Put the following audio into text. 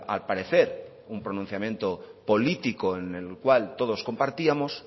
al parecer un pronunciamiento político en el cual todos compartíamos